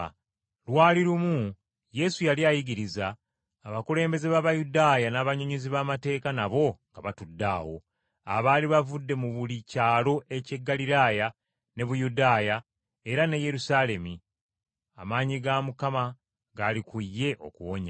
Lwali lumu Yesu yali ayigiriza abakulembeze b’Abayudaaya, n’abannyonnyozi b’amateeka nabo nga batudde awo, abaali bavudde mu buli kyalo eky’e Ggaliraaya ne Buyudaaya era n’e Yerusaalemi. Amaanyi ga Mukama gaali ku ye okuwonya.